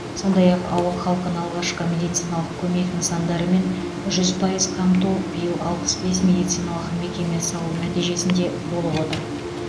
сондай ақ ауыл халқын алғашқы медициналық көмек нысандарымен жүз пайыз қамту биыл алпыс бес медициналық мекеме салу нәтижесінде болып отыр